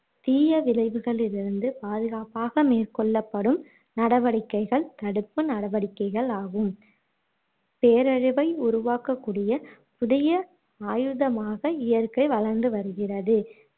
தீய விளைவுகளிளிருந்து பாதுகாப்பாக மேற்கொள்ளப்படும் நடவடிக்கைகள் தடுப்பு நடவடிக்கைகள் ஆகும் பேரழிவை உருவாக்கக் கூடிய புதிய ஆயுதமாக இயற்கை வளர்ந்து வருகிறது